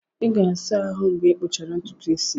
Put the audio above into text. Ị ga-asa ahụ mgbe ịkpụchara ntutu isi gị.